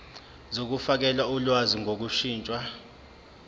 zokufakela ulwazi ngokushintsha